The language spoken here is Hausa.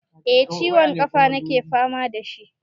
Eh ciwon ƙafa nake fama da shi.